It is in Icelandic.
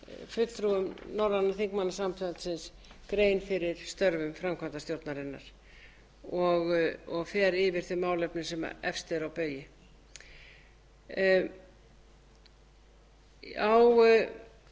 fulltrúum norræna þingmannasambandsins grein fyrir störfum framkvæmdastjórnarinnar og fer yfir þau málefni sem efst eru á baugi